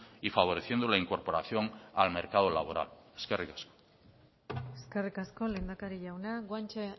y favoreciendo la incorporación al mercado laboral eskerrik asko eskerrik asko lehendakari jauna guanche